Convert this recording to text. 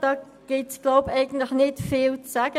Dazu gibt es nicht viel zu sagen.